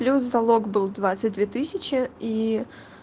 плюс залог был двадцать две тысячи и